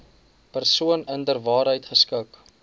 persoon inderwaarheid geskik